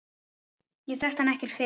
Ég þekkti hann ekkert fyrir.